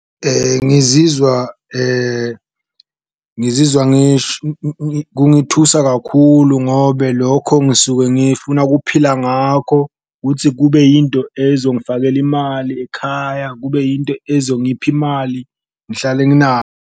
Ngizizwa ngizizwa kungithusa kakhulu ngobe lokho ngisuke ngifuna kuphila ngakho ukutsi, kube yinto ezongifakela imali ekhaya, kube into ezongipha imali, ngihlale .